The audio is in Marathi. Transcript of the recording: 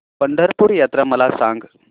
पंढरपूर यात्रा मला सांग